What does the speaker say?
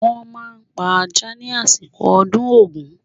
Wọ́n máa pa ajá ni àsìkò ọdún Ògún.